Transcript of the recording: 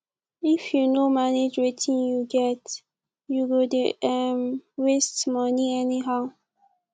if yu no manage wetin yu get yu go dey um waste money anyhow